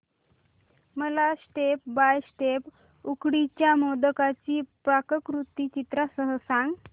मला step by step उकडीच्या मोदकांची पाककृती चित्रांसह सांग